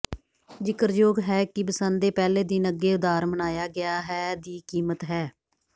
ਜ਼ਿਕਰਯੋਗ ਹੈ ਕਿ ਬਸੰਤ ਦੇ ਪਹਿਲੇ ਦਿਨ ਅੱਗੇ ਉਧਾਰ ਮਨਾਇਆ ਗਿਆ ਹੈ ਦੀ ਕੀਮਤ ਹੈ